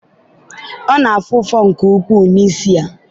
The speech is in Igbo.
ọ na-afụ ụfụ nke ukwuu n'isi ya